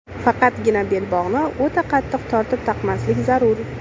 Faqatgina belbog‘ni o‘ta qattiq tortib taqmaslik zarur.